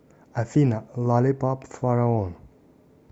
афина лаллипап фараон